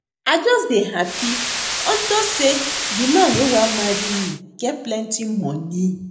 I just dey happy unto say the man wey wan marry me get plenty money